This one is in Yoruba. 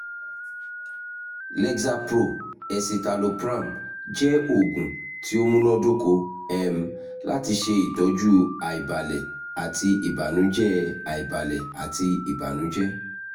lexapro (escitalopram) jẹ oogun ti o munadoko um lati ṣe itọju aibalẹ ati ibanujẹ aibalẹ ati ibanujẹ